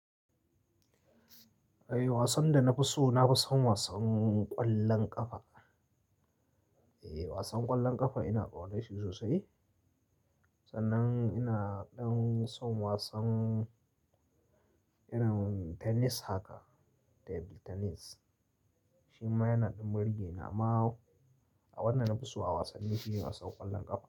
Eh wasan da na fi so, na fi son wasan ƙwallon ƙafa. Eh wasan ƙwallon ƙafa ina ƙauna shi sosai. Sanan ina ɗan son wasan irin tennis haka, table tennis. Shi ma yana ɗan burge ni amma a wanda na fi so a wasanni shine wasan ƙwallon ƙafa.